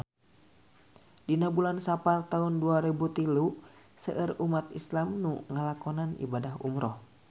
Dina bulan Sapar taun dua rebu tilu seueur umat islam nu ngalakonan ibadah umrah